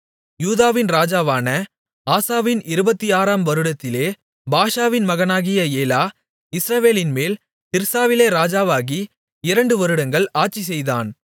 யூதாவின் ராஜாவான ஆசாவின் 26 ஆம் வருடத்திலே பாஷாவின் மகனாகிய ஏலா இஸ்ரவேலின்மேல் திர்சாவிலே ராஜாவாகி இரண்டு வருடங்கள் அரசாட்சி செய்தான்